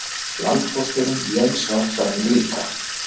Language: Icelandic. Landpósturinn, Jens, var þarna líka.